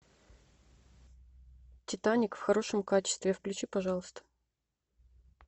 титаник в хорошем качестве включи пожалуйста